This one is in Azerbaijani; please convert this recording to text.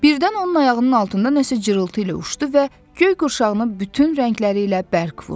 Birdən onun ayağının altında nəsə cırıltı ilə uçdu və göyqurşağına bütün rəngləri ilə bərq vurdu.